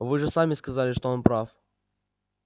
вы же сами сказали что он прав